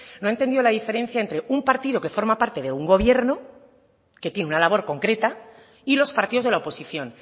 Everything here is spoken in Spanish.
no ha entendido la diferencia entre un partido que forma parte de un gobierno que tiene una labor concreta y los partidos de la oposición